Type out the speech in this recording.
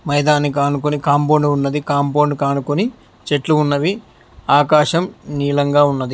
మైదానికానుకుని compound ఉన్నది compound కానుకొని చెట్లు ఉన్నవి ఆకాశం నీలంగా ఉన్నది.